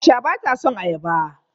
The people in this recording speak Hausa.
Aisha bata son ayaba.